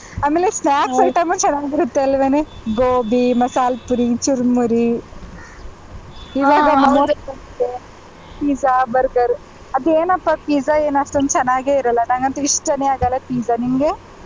ಆಮೇಲೆ snacks item ಚೆನ್ನಾಗ್ ಬರುತ್ತೆ ಅಲ್ವೇನೆ gobi masala puri, churmuri, pizza, burger ಆದೇನಪ್ಪ pizza ಏನು ಅಷ್ಟೊಂದು ಚೆನ್ನಾಗೆ ಇರಲ್ಲ ನಂಗಂತು ಇಷ್ಟನೆ ಆಗಲ್ಲ pizza ನಿಂಗೆ?